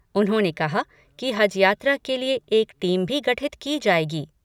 उन्होंने कहा कि हज यात्रा के लिए एक टीम भी गठित की जायेगी।